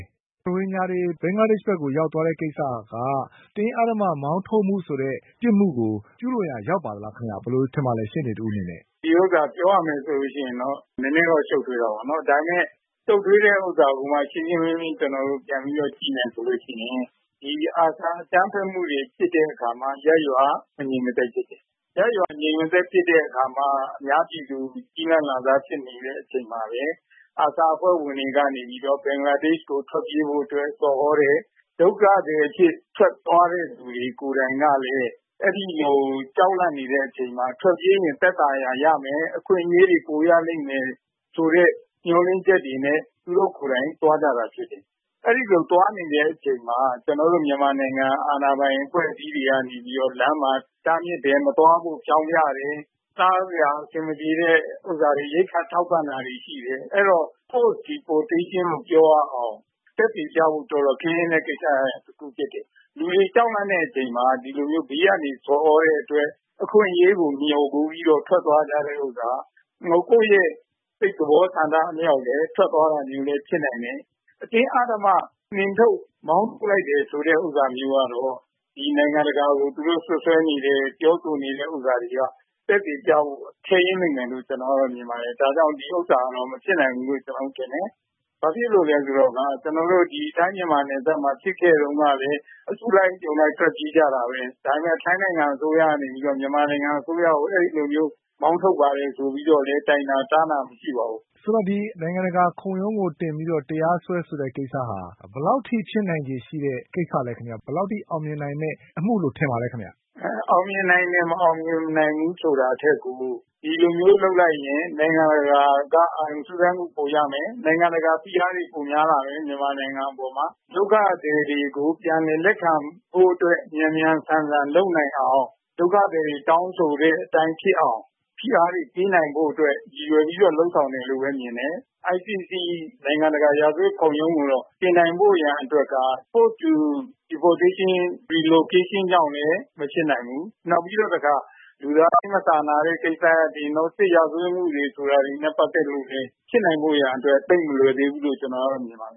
ေး။ ။ ရိုဟင်ဂျာတွေ ဘင်္ဂလားဒေ့ရှ်ကို ရောက်သွားတဲ့ကိစ္စက အတင်းအဓမ္မမောင်းထုတ်မှု ဆိုတဲ့ ပြစ်မှုကို ကျူးလွန်ရာ ရောက်ပါသလားခင်ဗျ ဘယ်လိုထင်ပါသလဲ ရှေ့နေတဦးအနေနဲ့။ ဒီဟာပြောရမယ်ဆိုရင် နည်းနည်းတော့ ရှုပ်ထွေးတာပေါ့နော် ဒါပေမယ့် ရှုပ်ထွေးတာကို ကျနော်တို့ ရှင်းရှင်းလင်းလင်းပြန်ပြီးတော့ ကြည့်မယ်ဆိုရင် ဒီ ARSA အကြမ်းဖက်မှုတွေ ဖြစ်တဲ့အခါမှာ ရပ်ရွာက မငြိမ်မသက်ဖြစ်တယ်။ ရပ်ရွာ မငြိမ်မသက်ဖြစ်တဲ့အခါမှာ အများပြည်သူက ကျီးလန့်စာဖြစ်မိတဲ့အချိန်မှာ ARSAအဖွဲ့ဝင်တွေကနေပြီးတော့ ဘင်္ဂလားဒေ့ရှ်ကို ထွက်ပြေးဖို့ဆော်သြတယ်။ ဒုက္ခသည်အဖြစ် ထွက်သွားတဲ့လူတွေကိုယ်တိုင်ကလည်း အဲဒီလိုကြောက်လန့်နေတဲ့အချိန်မှာ ထွက်ပြေးရင် သက်သာရာရမယ်၊ အခွင့်အရေးတွေပိုရလိမ့်မယ် ဆိုတဲ့ မျှော်လင့်ချက်တွေနဲ့ သူတို့ကိုယ်တိုင်သွားကြတာဖြစ်တယ်။ အဲဒီလိုသွားနေတဲ့အချိန်မှာ ကျနော်တို့ မြန်မာနိုင်ငံအာဏာပိုင်အဖွဲ့အစည်းတွေကနေပြီးတော့ လမ်းမှာ တားမြစ်တယ်။ မသွားဖို့ ဖောျင်းဖျတယ်။ စားစရာအဆင်မပြေရင် ရိက္ခာထောက်ပံ့တာတွေရှိတယ်။ အဲဒီတော့ Forced Deportation လို့ပြောရအောင် သက်သေပြဖို့ တော်တော်ခဲယဉ်းတဲ့ ကိစ္စတခုဖြစ်တယ်။ လူတွေကြောက်လန့်တဲ့အချိန်မှာ ဒီလိုဘေးကနေ ဆော်သြတဲ့အတွက် အခွင့်အရေးကို မျှော်ကိုးပြီးတော့ ထွက်သွားကြတဲ့ဟာတွေ က ကိုယ့်စိတ်သဘောဆန္ဒအလျောက်လည်းထွက်သွားတာမျိုးလည်းဖြစ်နိုင်တယ်။ အတင်းအဓမ္မ နှင်ထုတ်မောင်းထုတ်လိုက်တာမျိုးကတော့ နိုင်ငံတကာကို စွပ်စွဲနေတဲ့ ပြောဆိုနေတာတွေက သက်သေပြဖို့ ခဲယဉ်းလိမ့်မယ်လို့ မြင်ပါတယ်။ ဒါကြောင့် ဒီဟာကတော့ မဖြစ်နိုင်ဘူးလို့ ကျနော်ထင်တယ်။ ဘာဖြစ်လို့လဲဆိုတော့ ကျနော်တို့ ထိုင်းမြန်မာနယ်စပ်မှာ ဖြစ်ခဲ့တုန်းကလည်း အစုလိုက် အပြုံလိုက်ထွက်ပြေးကြတာပဲ။ ဒါပေမယ့်ထိုင်းနိုင်ငံအစိုးရကနေပြီး တော့ မြန်မာနိုင်ငံအစိုးရကို အဲလိုမျိုး မောင်းထုတ်ပါတယ်ဆိုပြီးတော့ တိုင်တာတန်းတာမရှိပါဘူး။ မေး။ ။ ဆိုတော့ နိုင်ငံတကာခုံရုံးကိုတင်ပြီးတော့ တရားစွဲဆိုတဲ့ ကိစ္စဟာ ဘယ်လောက်အထိဖြစ်နိုင်တဲ့ ကိစ္စလဲခင်ဗျ။ ဘယ်လောက်အထိအောင်မြင်နိုင်မယ့် အမှုလို့ထင်ပါသလဲခင်ဗျ။ အောင်မြင်နိုင်တယ် မအောင်မြင်နိုင်ဘူးဆိုတာထက်ကို ဒီလိုမျိုးလုပ်လိုက်ရင် နိုင်ငံတကာက အာရုံစူးစိုက်မှုပိုရမယ်။ နိုင်ငံတကာဖိအားတွေပိုများလာမယ်။ မြန်မာနိုင်ငံအပေါ်မှာ။ ဒုက္ခသည်တွေကို ပြန်လည်လက်ခံဖို့အတွက် မြန်မြန်ဆန်ဆန် လုပ်နိုင်အောင် ဒုက္ခသည်တွေ တောင်းဆိုတဲ့အတိုင်း ဖြစ်အောင် ဖိအားတွေ ပေးနိုင်ဖို့အတွက် ရည်ရွယ်ပြီးတော့ လုပ်ဆောင်တယ်လို့ပဲ မြင်တယ်။ ICC နိုင်ငံတကာ ရာဇဝတ်ခုံရုံးကိုတော့ တင်နိုင်ဖို့ရန်အတွက်က Forced Deportation/ Relocation ကြောင့်မဖြစ်နိုင်ဘူး။ နောက်ပြီးတော့ တခါ လူသားချင်မစာနာတဲ့ ကိစ္စရပ်တွေ စစ်ရာဇဝတ်မှုတွေဆိုတာနဲ့ ပတ်သက်လို့ ဖြစ်နိုင်ဖို့ သိပ်မလွယ်သေးဘူးလို့ ကျနော်မြင်ပါတယ